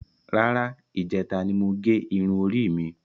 Rárá, ijẹta ni mo gé irun orí mi.